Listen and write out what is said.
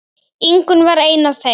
Ingunn var ein af þeim.